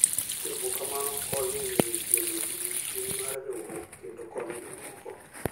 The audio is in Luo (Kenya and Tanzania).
Timo kamano konyo e miyo ji obed gi chuny mar riwruok kendo konyo jomoko.